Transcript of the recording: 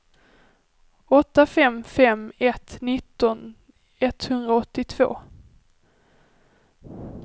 åtta fem fem ett nitton etthundraåttiotvå